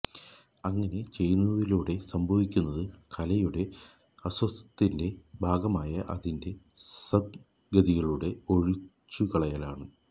അങ്ങനെ ചെയ്യുന്നതിലൂടെ സംഭവിക്കുന്നത് കലയുടെ അസ്തിത്വത്തിന്റെ ഭാഗമായ അതിന്റെ സന്നിഗ്ദ്ധതകളുടെ ഒഴിച്ചുകളയലാണ്